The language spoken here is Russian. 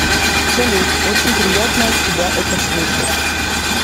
салют очень приятно от тебя это слышать